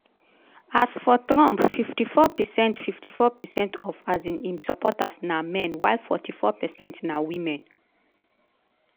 as for trump 54 percent 54 percent of um im supporters na men while 44 percent na women.